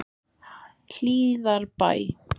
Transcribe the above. Hlíðarbæ